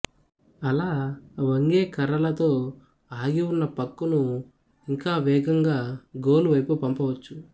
అలా వంగే కర్రలతో ఆగి ఉన్న పక్కును ఇంకా వేగంగా గోలు వైపు పంపవచ్చు